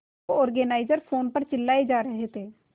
show organiser phone पर चिल्लाए जा रहे थे